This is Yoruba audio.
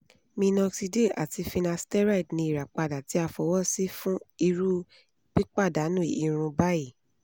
minoxidil ati finasteride ni irapada ti a fọwọsi fun iru pipadanu irun bayii